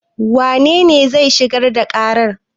Wanene zai shigar da ƙarar?